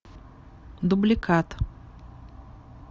дубликат